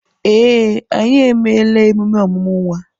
Ee, anyị emeela emume ọmụmụ nwa.